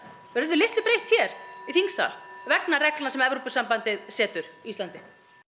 verður litlu breytt hér í þingsal vegna reglna sem Evrópusambandið setur Íslandi